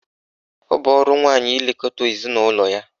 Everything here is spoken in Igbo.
Ọ bụ ọrụ nwaanyị ilekọta ezinaụlọ ya.